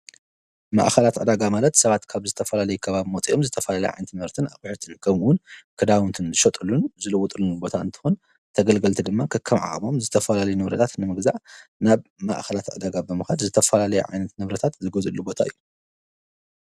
ማኣኸላት ኣዳጋ ማለት ሰባት ካብ ዝተፈላለይካባብ ሞጺኦም ዝተፋላለይ ዓንቲመርትን ኣቝዕትንከምውን ክዳውንትን ዝሸጠሉን ዝልውጥሉንቦታ እንተሆን ተገልገልቲ ድማ ከከምዓዓሞም ዝተፈላለ ነብረታት ንምግዛ ናብ ማእኸላት ኣደጋ በምኻድ ዝተፈላለይ ዓይነት ነብረታት ዝጐዘሉ ቦታ ዩ።